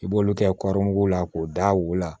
I b'olu kɛ la k'o da u la